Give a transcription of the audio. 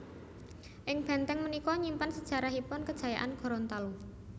Ing bèntèng punika nyimpen sejarahipun kejayaan Gorontalo